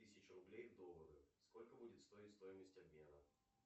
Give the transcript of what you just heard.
тысяча рублей в доллары сколько будет стоить стоимость обмена